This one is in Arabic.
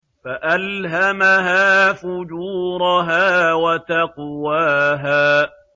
فَأَلْهَمَهَا فُجُورَهَا وَتَقْوَاهَا